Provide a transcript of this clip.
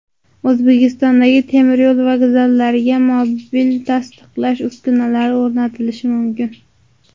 O‘zbekistondagi temiryo‘l vokzallariga mobil tasdiqlash uskunalari o‘rnatilishi mumkin.